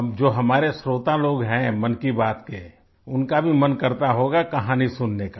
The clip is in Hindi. अब जो हमारे श्रोता लोग हैं मन की बात के उनका भी मन करता होगा कहानी सुनने का